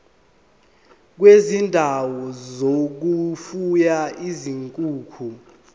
kwezindawo zokufuya izinkukhu